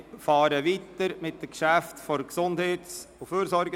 Wir fahren weiter mit den Geschäften der GEF.